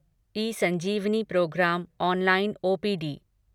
eSanjeevani programme online OPD